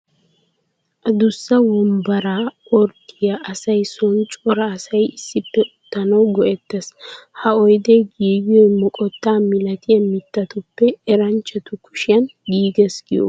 Adussa wombbaraa orddiyaa asay sooni cora asay issippe uttanawu go''etees. Ha oyddee giigiyoy moqotaa milatiyaa mittatuppe eranchatu kushiyaan giigees giyooga.